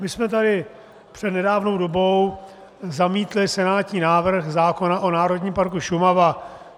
My jsme tady před nedávnou dobou zamítli senátní návrh zákona o Národním parku Šumava.